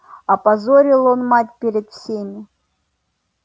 опозорил он мать перед всеми